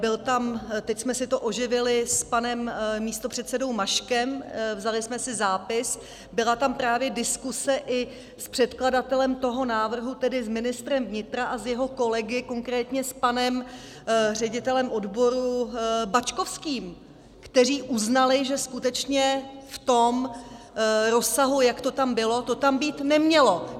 Byla tam - teď jsme si to oživili s panem místopředsedou Maškem, vzali jsme si zápis - byla tam právě diskuze i s předkladatelem toho návrhu, tedy s ministrem vnitra a s jeho kolegy, konkrétně s panem ředitelem odboru Bačkovským, kteří uznali, že skutečně v tom rozsahu, jak to tam bylo, to tam být nemělo.